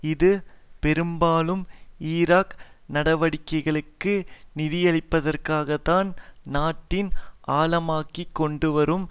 இது பெரும்பாலும் ஈராக் நடவடிக்கைகளுக்கு நிதியளிப்பதற்காகத்தான் நாட்டின் ஆழமாகிக்கொண்டுவரும்